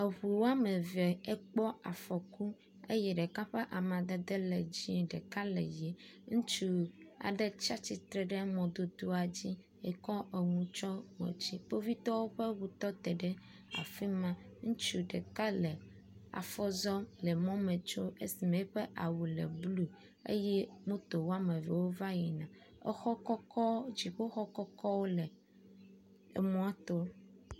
Eŋu wɔme eve ekpɔ afɔku eye ɖeka ƒe amadede le dzie ɖeka le ʋi. Ŋutsu aɖe tsi atsitre ɖe mɔdodoa dzi kɔ nu tsɔ ŋɔtsi. Kpovitɔwo ƒe eŋu tɔte ɖe afi ma. Ŋutsu ɖeka le afɔ zɔm le mɔme tsom esime eƒe awu le blu eye moto wɔme eve wova yina. Exɔ kɔkɔ dziƒoxɔ kɔkɔwo le emɔa to.